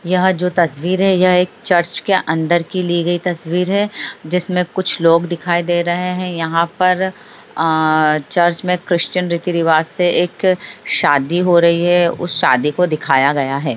यह जो तस्वीर है ये चर्च के अंदर की ली गई तस्वीर है जिसमें कुछ लोग दिखाई दे रहे हैं यहाँ पर आ चर्च में क्रिश्चियन रीति-रिवाज से एक शादी हो रही है उस शादी को दिखया गया है।